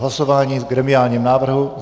Hlasování o gremiálním návrhu.